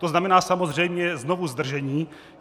To znamená samozřejmě znovu zdržení.